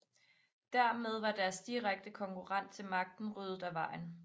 Dermed var deres direkte konkurrent til magten ryddet af vejen